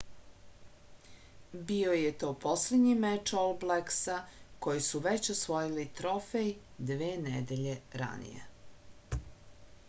bio je to poslednji meč ol bleksa koji su već osvojili trofej dve nedelje ranije